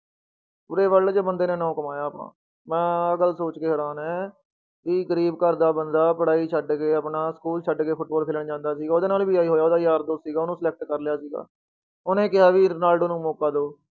ਪੂਰੇ world 'ਚ ਬੰਦੇ ਨੇ ਨਾਂ ਕਮਾਇਆ ਆਪਣਾ, ਮੈਂ ਆਹ ਗੱਲ ਸੋਚਕੇ ਹੈਰਾਨ ਹੈਂ ਵੀ ਗ਼ਰੀਬ ਘਰਦਾ ਬੰਦਾ, ਪੜ੍ਹਾਈ ਛੱਡ ਕੇ ਆਪਣਾ school ਛੱਡ ਕੇ ਫੁਟਬਾਲ ਖੇਲਣ ਜਾਂਦਾ ਸੀਗਾ, ਉਹਦੇ ਨਾਲ ਵੀ ਆਹੀ ਹੋਇਆ ਉਹਦਾ ਯਾਰ ਦੋਸਤ ਸੀਗਾ ਉਹਨੂੰ select ਕਰ ਲਿਆ ਸੀਗਾ, ਉਹਨੇ ਕਿਹਾ ਵੀ ਰੋਨਾਲਡੋ ਨੂੰ ਮੌਕਾ ਦਓ।